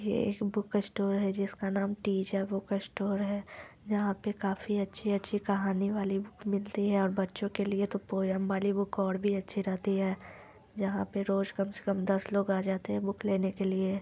ये एक बुक्स्टोर है जिसका नाम टीजा बुक्स्टोर है जहां पे काफी अच्छी - अच्छी कहानी वाले बुक मिलते है और बच्चों के लिए तो पोएम वाली बुक और भी अच्छी रहती है जहां पर रोज कम से कम दस लोग आ जाते हैं बुक लेने के लिए।